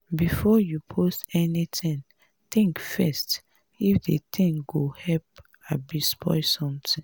before you post anything think first if de thing go help abi spoil something.